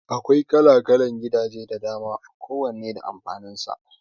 Akwai kala-kalan gidaje da dama ko wanne da amfanin sa